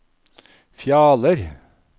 Fjaler